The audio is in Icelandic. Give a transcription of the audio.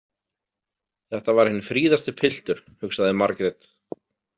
Þetta var hinn fríðasti piltur, hugsaði Margrét.